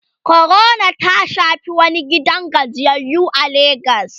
corona ta Shafi wani gidan gajiyayyu a legas